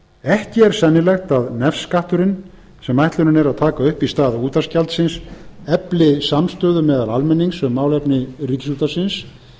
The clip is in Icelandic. ekki er sennilegt að nefskatturinn sem ætlunin er að taka upp í stað útvarpsgjaldsins efli samstöðu meðal almennings um málefni ríkisútvarpsins